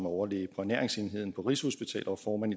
overlæge på ernæringsenheden på rigshospitalet og formand